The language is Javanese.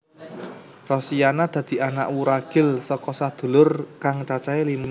Rosiana dadi anak wuragil saka sadulur kang cacahé lima